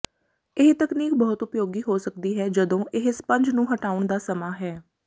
ਇਹ ਤਕਨੀਕ ਬਹੁਤ ਉਪਯੋਗੀ ਹੋ ਸਕਦੀ ਹੈ ਜਦੋਂ ਇਹ ਸਪੰਜ ਨੂੰ ਹਟਾਉਣ ਦਾ ਸਮਾਂ ਹੈ